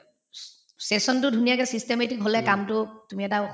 sec section তো ধুনীয়াকে systematic হলে কামটোক তুমি এটা